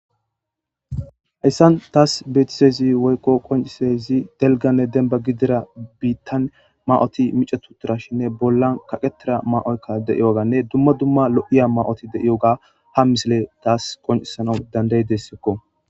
hayssan taas beetisezi woykko qoncisezi delganne demba gidira biittan ma7oti micatuturashinne bollan kaqetira ma7oykka deiyoganne dumma dumma lo7iya ma7oti deiyoga ha misile taas qoncisana danday dessekko